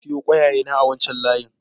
Na sayo ƙwaiƙwayena a wancan layin.